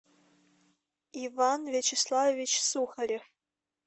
иван вячеславович сухарев